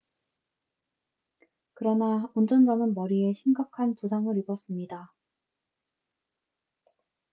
그러나 운전자는 머리에 심각한 부상을 입었습니다